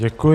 Děkuji.